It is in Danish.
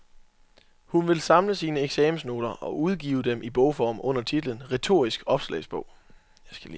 Hun vil samle sine eksamensnoter og udgive dem i bogform under titlen Retorisk opslagsbog.